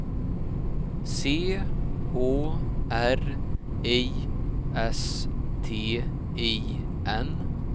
C H R I S T I N